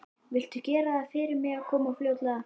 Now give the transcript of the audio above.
Viltu gera það fyrir mig að koma fljótlega?